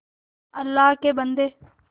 अल्लाह के बन्दे